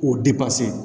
O depase